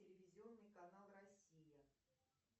телевизионный канал россия